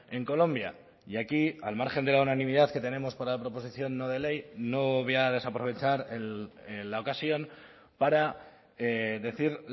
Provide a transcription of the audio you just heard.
en colombia y aquí al margen de la unanimidad que tenemos para la proposición no de ley no voy a desaprovechar la ocasión para decir